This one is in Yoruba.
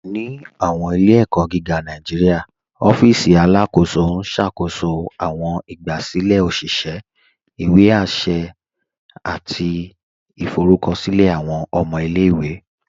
Ni awọn ilẹ̀-ẹ̀kọ̀ giga Nàìjíríà, òfìsì Alákóso n ṣákóṣó awọn ìgbàsílẹ̀ òṣìṣẹ̀, ìwé àṣẹ̀, àti ìfọ̀rùkọ̀ṣílẹ̀ awọn ọmọ ilẹ̀-iwe.